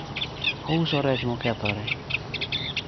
ouso rech mokethore